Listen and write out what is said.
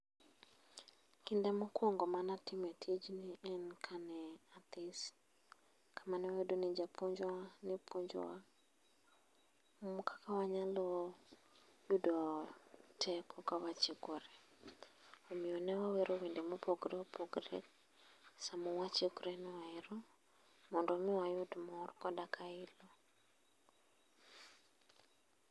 Kinde mokwongo manatime tijni en kane athis. Kamane wayude ni japuonjwa ne puonjowa, kaka wanyalo yudo teko kawachikore. Omiyo newawero wende mopogore opogore sama wachikorenoero. Mondo mi wayud mor koda ka ilo.